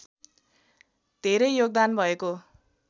धेरै योगदान भएको